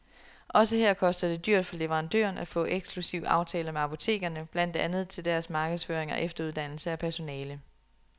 Også her koster det dyrt for leverandøren at få eksklusivaftaler med apotekerne, blandt andet til deres markedsføring og efteruddannelse af personale.